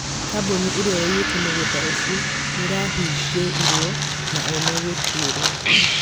kambuni ĩrĩa yaiyĩte mũgũnda ũcio ni ĩrahingĩirũo na ene gũtuĩrũo